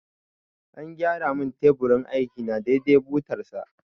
An gyara mun teburin aiki na dai dai da butar sa